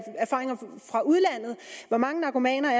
erfaringer fra udlandet hvor mange narkomaner